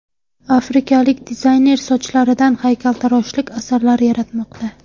Afrikalik dizayner sochlaridan haykaltaroshlik asarlari yaratmoqda .